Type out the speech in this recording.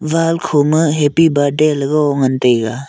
wall kho ma happy birthday le go ngan taiga.